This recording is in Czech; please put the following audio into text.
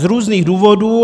Z různých důvodů.